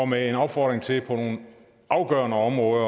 med en opfordring til på nogle afgørende områder